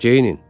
Geyinin.